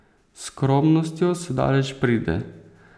S skromnostjo se daleč pride.